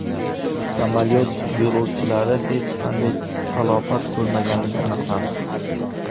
Samolyot yo‘lovchilari hech qanday talafot ko‘rmaganligi aniqlandi.